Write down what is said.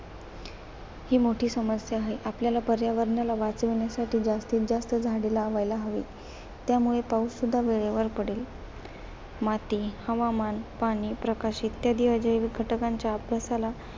ही मोठी समस्या आहे. आपल्याला पर्यावरणाला वाचवण्यासाठी जास्तीजास्त झाडे लावायला हवीत. त्यामुळे पाऊससुद्धा वेळेवर पडेल. माती, हवामान, पाणी, प्रकाश इत्यादी अजैविक घटकांच्या अभ्यासाला